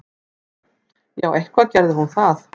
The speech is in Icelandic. Já, eitthvað gerði hún það.